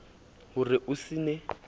ho re o se ne